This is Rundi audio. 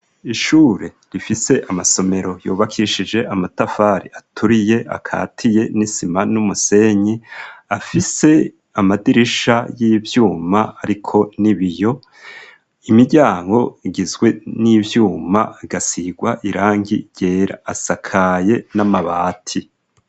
Ishure rifise amasomero yubakishije amatafari aturiye akatiye n'isima n'umusenyi afise amadirisha y'ivyuma ariko n'ibiyo imiryango igizwe n'ivyuma agasigwa irangi ryera asakaye n'amabati.